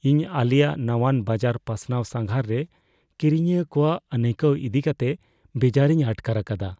ᱤᱧ ᱟᱞᱮᱭᱟᱜ ᱱᱟᱣᱟᱱ ᱵᱟᱡᱟᱨ ᱯᱟᱥᱱᱟᱣ ᱥᱟᱸᱜᱷᱟᱨ ᱨᱮ ᱠᱤᱨᱤᱧᱤᱭᱟᱹ ᱠᱚᱣᱟᱜ ᱟᱹᱱᱟᱹᱭᱠᱟᱹᱣ ᱤᱫᱤ ᱠᱟᱛᱮ ᱵᱮᱡᱟᱨᱤᱧ ᱟᱴᱠᱟᱨ ᱟᱠᱟᱫᱟ ᱾